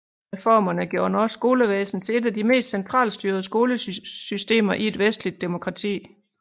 Reformerne gjorde norsk skolevæsen til et af de mest centralstyrede skolesystemer i et vestligt demokrati